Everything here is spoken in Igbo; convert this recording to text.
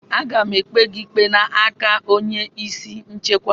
Aga m ekpe gị n'aka onye isi nchekwa!